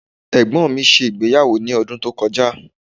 Ẹ̀gbọ́n mi ṣe ìgbéyàwó ní ọdún tó kọjá.